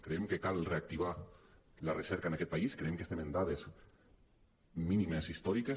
creiem que cal reactivar la recerca en aquest país creiem que estem en dades mínimes històriques